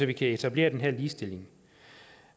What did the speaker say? vi kan etablere den her ligestilling